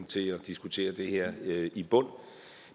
til at diskutere det her i bund